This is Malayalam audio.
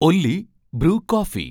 Ollie Bru coffee